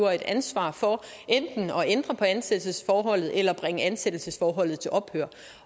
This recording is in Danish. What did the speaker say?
ansvar for enten at ændre på ansættelsesforholdet eller bringe ansættelsesforholdet til ophør